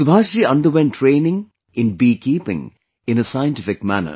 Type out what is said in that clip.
Subhash ji underwent training in beekeeping in a scientific way